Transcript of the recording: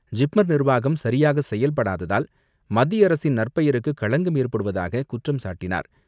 ஜிப்மர் நிர்வாகம் சரியாக செயல்படாததால் மத்திய அரசின் நற்பெயருக்கு களங்கம் ஏற்படுவதாக குற்றம் சாட்டினார்.